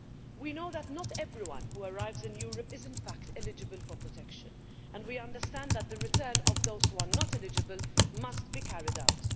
We know that not everyone who arrives in Europe is in fact eligible for protection, and we understand that the return of those who are not eligible must be carried out.